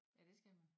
Ja det skal man